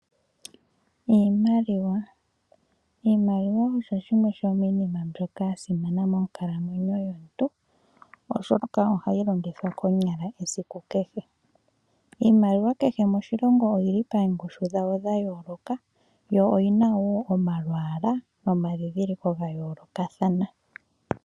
Iimaliwa, Iimaliwa oyo yimwe yo miinima mbyoka ya simana monkalamweno yomuntu, oshoka ohayi longithwa konyala esiku kehe. Iimaliwa kehe moshilongo oyi li paangushu dhayo dha yooloka, yo oyi na woo omamwaala nomadhidhiliko ga yoolokathana